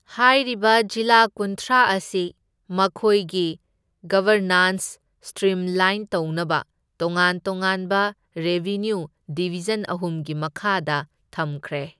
ꯍꯥꯏꯔꯤꯕ ꯖꯤꯂꯥ ꯀꯨꯟꯊ꯭ꯔꯥ ꯑꯁꯤ ꯃꯈꯣꯏꯒꯤ ꯒꯕꯔꯅꯥꯟꯁ ꯁꯇ꯭ꯔꯤꯝꯂꯥꯏꯟ ꯇꯧꯅꯕ ꯇꯣꯉꯥꯟ ꯇꯣꯉꯥꯟꯕ ꯔꯦꯚꯤꯅ꯭ꯌꯨ ꯗꯤꯕꯤꯖꯟ ꯑꯍꯨꯝꯒꯤ ꯃꯈꯥꯗ ꯊꯝꯈ꯭ꯔꯦ꯫